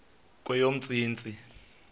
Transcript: kweyomntsintsi